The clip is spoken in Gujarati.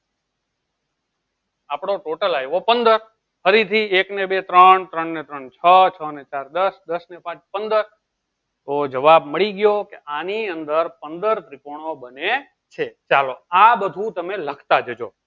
આપડો total આયો પંદર ફરી થી એક ને બે ત્રણ ત્રણ ને ત્રણ છો છો ને ચાર દસ દસ ને પાંચ પંદર તો જવાબ મળી ગયો ઓકે આની અંદર પંદર ત્રીકોનો બને છે ચાલો આ બધું તમે લખ્યા જજો